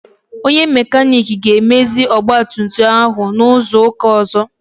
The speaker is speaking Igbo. Onye makanik ga-emezi ọgbatumtum ahụ n'izu ụka ọzọ.